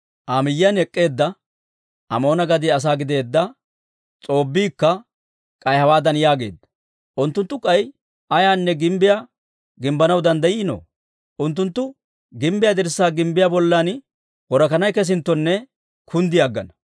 Aa miyyiyaan ek'k'eedda Amoona gadiyaa asaa gideedda S'oobbiikka k'ay hawaadan yaageedda; «Unttunttu k'ay ay gimbbiyaa gimbbanaw danddayiino? Unttunttu gimbbiyaa dirssaa gimbbiyaa bollan worakanay kesinttonne kunddi aggana».